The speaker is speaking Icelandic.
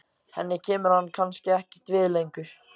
Henni kemur hann kannski ekkert við lengur.